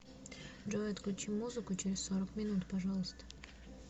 джой отключи музыку через сорок минут пожалуйста